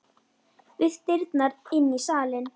Við dyrnar inn í salinn.